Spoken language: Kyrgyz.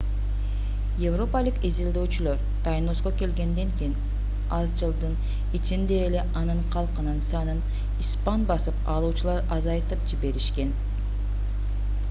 европалык изилдөөчүлөр тайноско келгенден кийин аз жылдын ичинде эле анын калкынын санын испан басып алуучулар азайтып жиберишкен